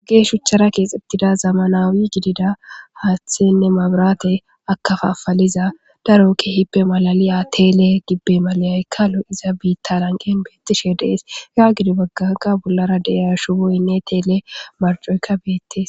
Gge shuchchara keexebtida zama naawi gidida haaththenne mabraate akafafaliza darokki hippe malali atele gibbe malayaykkalo iza biitta lanqen beettishe dees ga gidi baggaga bollara deyashu boynne teele marjoyka beettes.